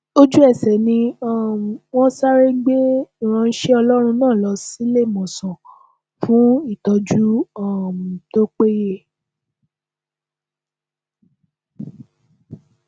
ojúẹsẹ ni um wọn sáré gbé ìránṣẹ ọlọrun náà lọ síléemọsán fún ìtọjú um tó péye